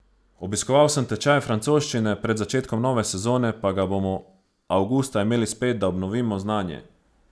Obiskoval sem tečaj francoščine, pred začetkom nove sezone pa ga bomo avgusta imeli spet, da obnovimo znanje.